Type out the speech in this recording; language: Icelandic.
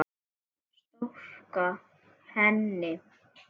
Storka henni.